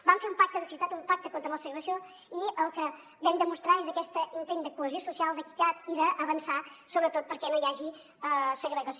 vam fer un pacte de ciutat un pacte contra la segregació i el que vam demostrar és aquest intent de cohesió social d’equitat i d’avançar sobretot perquè no hi hagi segregació